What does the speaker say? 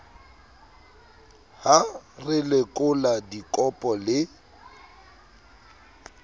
ha re lekola dikopo le